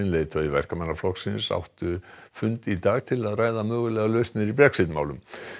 leiðtogi Verkamannaflokksins áttu fund í dag til að ræða mögulegar lausnir í Brexit málum